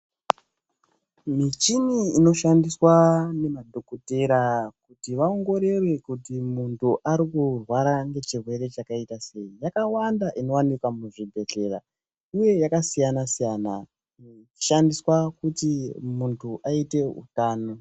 Michini inoshandiswa nemadhogodheya kuti vaongorore kuti munhu ari kurwara ngechirwere chakaita sei yakawanda. Inowanikwa muchibhedhlera uye yakasiyana-siyana, inoshandiswa kuti munhu aite utano.